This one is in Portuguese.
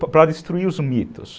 Para destruir os mitos.